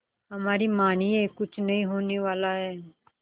हमारी मानिए कुछ नहीं होने वाला है